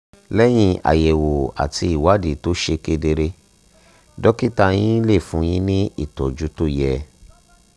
lẹ́yìn àyẹ̀wò àti ìwádìí tó ṣe kedere dókítà yín lè fún yín ní ìtọ́jú tó yẹ